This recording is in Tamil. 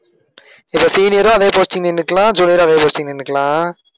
இப்ப senior உம் அதே posting ல நின்னுக்கலாம் junior உம் அதே posting நின்னுக்கலாம்.